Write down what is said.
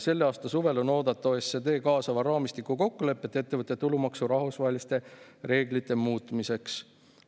Selle aasta suvel on oodata OECD kaasava raamistiku kokkulepet ettevõtte tulumaksu rahvusvaheliste reeglite muutmiseks.